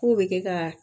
K'o bɛ kɛ ka